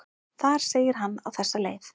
Þar segir hann á þessa leið: